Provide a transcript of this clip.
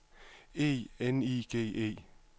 E N I G E